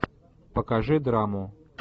покажи драму